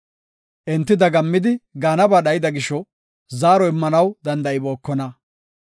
Enti dagammidi, gaanaba dhayida gisho, zaaro immanaw danda7ibookona.